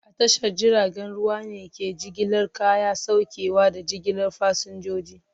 A tashar jiragen ruwa ne ke jigilar kaya, saukewa, da jigilar fasinjoji.